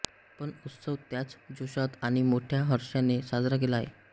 पण उत्सव त्याच जोशात आणि मोठ्या हर्षाने साजरा केला जातो